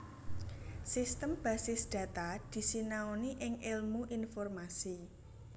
Sistem basis data disinaoni ing èlmu informasi